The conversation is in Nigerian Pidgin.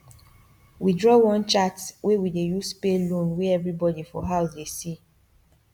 we draw one chart wey we dey use pay loan wey everybody for house dey see